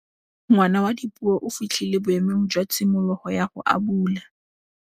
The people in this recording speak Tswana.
Ngwana wa Dipuo o fitlhile boêmô jwa tshimologô ya go abula.